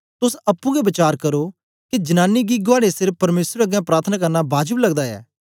तोस अप्पुं गै वचार करो के जनांनी गी गुआड़े सिर परमेसर अगें प्रार्थना करना बाजब लगदा ऐ